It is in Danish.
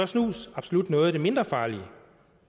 snus absolut noget af det mindre farlige